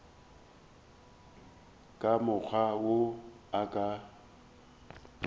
ka mokgwa wo a ka